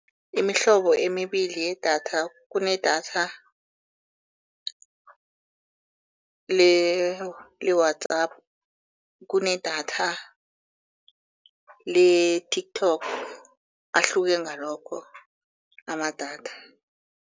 Imihlobo emibili yedatha, kunedatha le-WhatsApp, kunedatha le-TikTok, ahluke ngalokho amadatha.